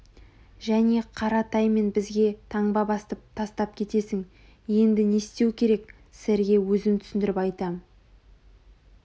және қаратай мен бізге таңба тастап кетесің енді не істеу керек сэрге өзім түсіндіріп айтам